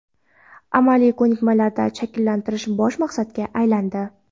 amaliy ko‘nikmalarni shakllantirish bosh maqsadga aylandi.